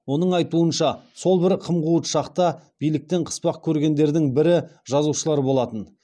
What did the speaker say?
оның айтуынша сол бір қым қуыт шақта биліктен қыспақ көргендердің бірі жазушылар болатын